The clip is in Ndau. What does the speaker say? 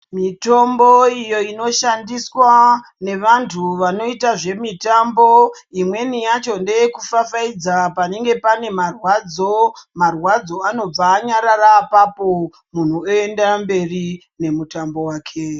Mitombo iyo inoshandiswa, nevantu vanoita zvemitambo, imweni yacho ndeyekufafaidza panenge pane marwadzo, marwadzo anobva anyarara apapo, muntu oenda mberi nemutambo wake.